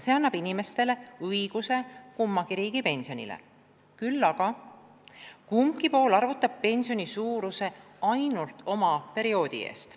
See annab inimestele õiguse kummagi riigi pensionile, seejuures arvutab kumbki pool pensioni suuruse ainult nn oma perioodi eest.